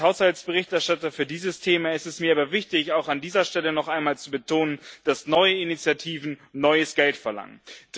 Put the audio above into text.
Als Haushaltsberichterstatter für dieses Thema ist es mir aber wichtig, auch an dieser Stelle noch einmal zu betonen, dass neue Initiativen neues Geld verlangen.